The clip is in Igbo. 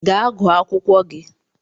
Ga gụọ akwụkwọ gi!